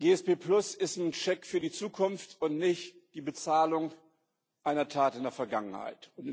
APS ist ein Scheck für die Zukunft und nicht die Bezahlung einer Tat in der Vergangenheit.